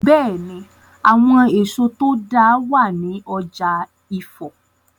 Bẹ́è ni, àwọn èso tó dáa wàá ní ọ̀jà Ifọ̀.